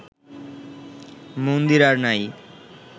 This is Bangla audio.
মন্দির আর নাই